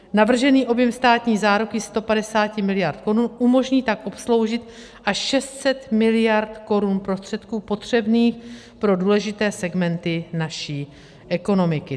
Navržený objem státní záruky 150 miliard korun umožní tak obsloužit až 600 miliard korun prostředků potřebných pro důležité segmenty naší ekonomiky.